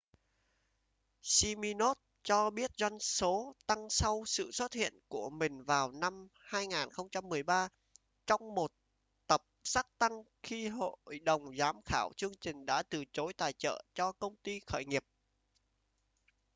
siminoff cho biết doanh số tăng sau sự xuất hiện của mình vào năm 2013 trong một tập shark tank khi hội đồng giám khảo chương trình đã từ chối tài trợ cho công ty khởi nghiệp